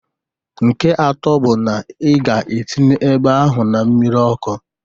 Nke atọ bụ na ị ga-etinye eba ahụ na mmiri ọkụ